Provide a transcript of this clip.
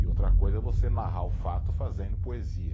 E outra coisa é você narrar o fato fazendo poesia.